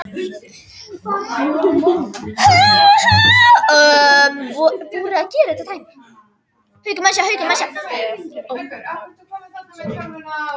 Það eina sem varð eftir í öskjunni var vonin.